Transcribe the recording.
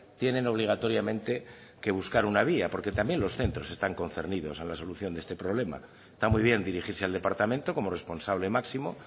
tienen obligatoriamente que buscar una vía porque también los centros están concernidos a la solución de este problema está muy bien dirigirse al departamento como responsable máximo